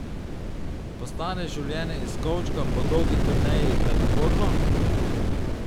Postane življenje iz kovčka po dolgi turneji prenaporno?